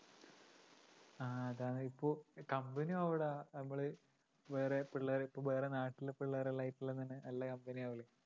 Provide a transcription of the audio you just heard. ആ ഇതാ ഇപ്പൊ company ആവൂടാ നമ്മള് വേറെ പിള്ളേര് ഇപ്പൊ വേറെ നാട്ടിലെ പിള്ളേര്‌ എല്ലാം ആയിട്ട് എല്ലാം തന്നെ company ആവൂല്ലേ